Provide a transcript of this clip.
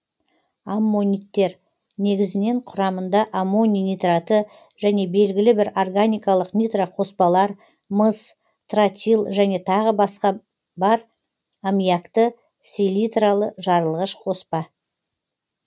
аммониттер негізінен құрамында аммоний нитраты және белгілі бір органикалық нитроқоспалар мыс тротил және тағы басқа бар аммиакты селитралы жарылғыш қоспа